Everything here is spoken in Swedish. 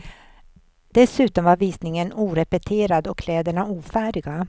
Dessutom var visningen orepeterad och kläderna ofärdiga.